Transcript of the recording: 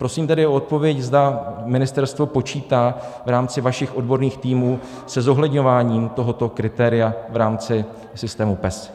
Prosím tedy o odpověď, zda ministerstvo počítá v rámci vašich odborných týmů se zohledňováním tohoto kritéria v rámci systému PES.